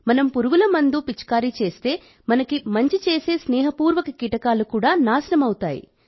మనం పురుగుమందులు పిచికారీ చేస్తే మనకు మంచి చేసే స్నేహపూర్వక కీటకాలు కూడా నాశనం అవుతాయి